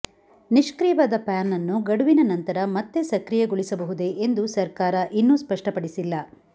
ನಿಷ್ಕ್ರಿಯವಾದ PAN ಅನ್ನು ಗಡುವಿನ ನಂತರ ಮತ್ತೆ ಸಕ್ರಿಯಗೊಳಿಸಬಹುದೇ ಎಂದು ಸರ್ಕಾರ ಇನ್ನೂ ಸ್ಪಷ್ಟಪಡಿಸಿಲ್ಲ